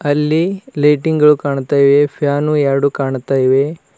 ಅಲ್ಲಿ ಲೈಟಿಂಗ್ ಗಳು ಕಾಣ್ತಾ ಇವೆ ಫ್ಯಾನು ಎರಡು ಕಾಣುತ್ತ ಇವೆ.